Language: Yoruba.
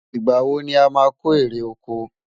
ìgbà wò ní a má kò eré okò?